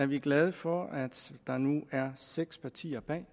vi er glade for at der nu er seks partier bag